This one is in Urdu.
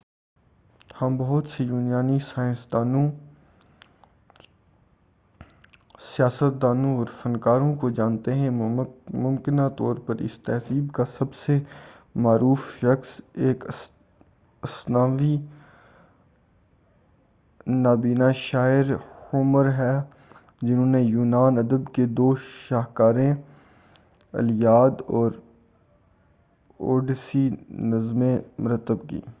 ہم بہت سے یونانی سیاستدانوں سائنسدانوں اور فنکاروں کو جانتے ہیں ممکنہ طور پر اس تہذیب کا سب سے معروف شخص ایک افسانوی نابینہ شاعر ہومر ہے جنہوں نے یونانی ادب کے دو شاہکاریں الییاد اور اوڈیسی نظمیں مرتب کیں